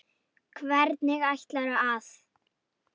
Hvernig ætlarðu að.?